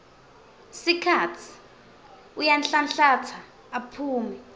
sikhatsi uyanhlanhlatsa aphume